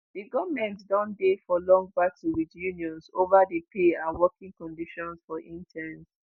di goment don dey for long battle wit unions ova di pay and working conditions for interns